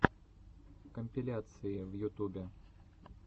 компиляции в ютубе